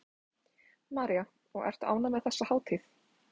María: Og ertu ánægð með þessa hátíð?